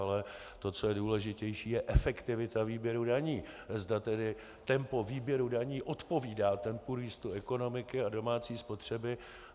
Ale to, co je důležitější, je efektivita výběru daní, zda tedy tempo výběru daní odpovídá tempu růstu ekonomiky a domácí spotřeby.